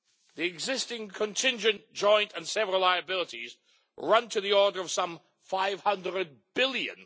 The existing contingent joint and several liabilities run to the order of some EUR 500 billion.